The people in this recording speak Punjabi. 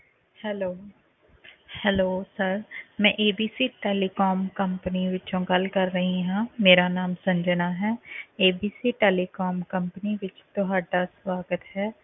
Hello hello sir ਮੈਂ ABC telecom company ਵਿੱਚੋਂ ਗੱਲ ਕਰ ਰਹੀ ਹਾਂ ਮੇਰਾ ਨਾਮ ਸੰਜਨਾ ਹੈ ABC telecom company ਵਿੱਚ ਤੁਹਾਡਾ ਸਵਾਗਤ ਹੈ।